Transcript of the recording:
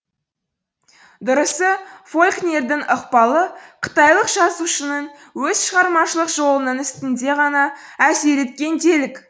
дұрысы фолкнердің ықпалы қытайлық жазушының өз шығармашылық жолының үстінде ғана әсер еткен делік